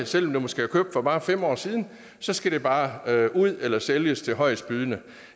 selv om det måske er købt for bare fem år siden skal det bare ud eller sælges til højestbydende